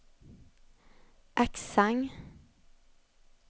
accent